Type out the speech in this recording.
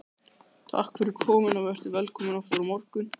Takk fyrir komuna og vertu velkomin aftur á morgun.